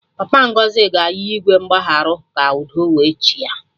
Papa Ngozi ga-ayọ Igwe mgbagharụ ka udo we chịa